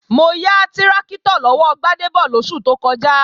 Mo ya tráktọ̀ lọ́wọ́ Gbádébọ̀ lóṣù tó kọjá